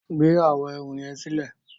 Gbé áwòn èrú yèn silè